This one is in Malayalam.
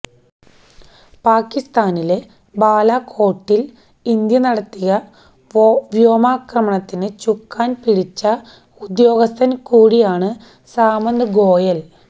പാക്കിസ്ഥാനിലെ ബാലാകോട്ടില് ഇന്ത്യ നടത്തിയ വ്യോമാക്രമണത്തിന് ചുക്കാന് പിടിച്ച ഉദ്യോഗസ്ഥന് കൂടിയാണ് സാമന്ത് ഗോയല്